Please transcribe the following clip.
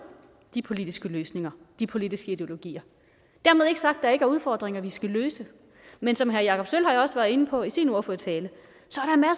de politiske løsninger de politiske ideologier dermed ikke sagt at der ikke er udfordringer vi skal løse men som herre jakob sølvhøj også var inde på i sin ordførertale